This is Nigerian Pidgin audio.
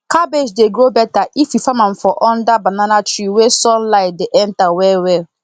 cabbage dey grow better if you farm am for under banana tree wey sun light dey enter well well